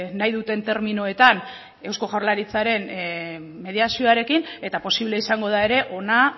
nahi duten terminoetan eusko jaurlaritzaren mediazioarekin eta posible izango da ere hona